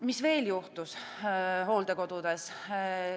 Mis veel juhtus hooldekodudes?